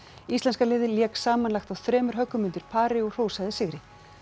íslenska liðið lék samanlagt á þremur höggum undir pari og hrósaði sigri